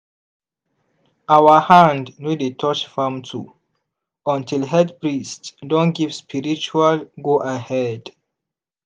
our hand no dey touch farm tool until head priest don give spiritual go-ahead.